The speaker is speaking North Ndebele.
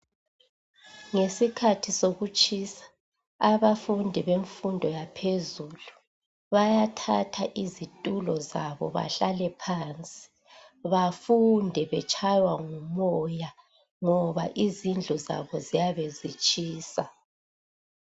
Ngesikhathi sokutshisa abafundi bemfundo yaphezulu bayathatha izitulo zabo bahlale phandle bafunde betshaywa ngumoya ngoba izindlu zabo ziyabe zitshisa